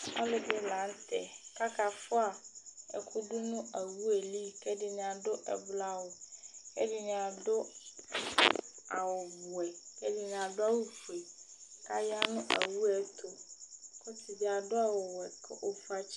Alʋɛdìní la ntɛ Aka fʋa ɛku du nu awu ye li kʋ ɛdiní adʋ ɛblɔ awu Ɛdiní adu awu wɛ Ɛdiní adu awu fʋe kʋ aya nʋ awu ye ɛtu